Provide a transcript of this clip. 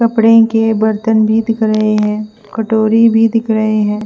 कपड़े के बर्थन भी दिख रहे है कटोरी भी दिख रहे है।